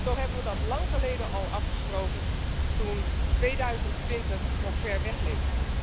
Zo hebben we dat lang geleden al afgesproken, toen 2020 nog ver weg leek.